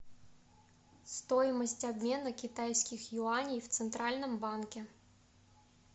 стоимость обмена китайских юаней в центральном банке